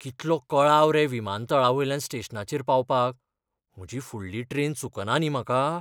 कितलो कळाव रे विमानतळावेल्यान स्टेशनाचेर पावपाक, म्हजी फुडली ट्रेन चुकना न्ही म्हाका?